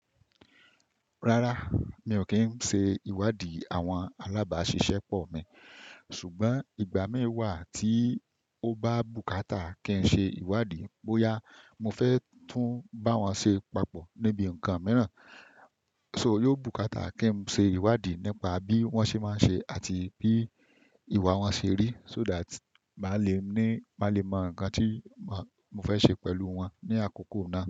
Rárá, mi ò kí ń ṣe ìwádìí àwọn alábàáṣiṣẹ́ pọ̀ mi, ṣùgbọ́n ìgbà mí wà tí ó bá bùkátà kí n ṣe ìwádìí bóyá mo fẹ́ tún bá wọn ṣe papọ̀ níbi ǹkan mìràn. So, yóò bùkátà kí n ṣe ìwádìí nípa bí wọ́n ṣe máa ń ṣe àti bí ìwà wọn ṣe rí so that má lè mọ ǹkan tí mo fẹ́ ṣe pẹ̀lú wọn ní àkókò náà.